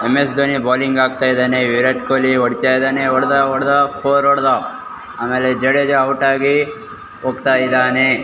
MS. Dhoni bowling ಆಕ್ತಾಯಿದಾನೇ ವಿರಾಟ್ ಕೊಲಿ ಒಡಿತಾಯಿದಾನೆ ಒಡ್ದಾ ಒಡ್ದಾ ಫೋರ್ ಒಡ್ದ ಆಮೇಲೆ ಜಡೇಜ ಔಟ್ ಆಗಿ ಹೋಗತಾಯಿದನೇ.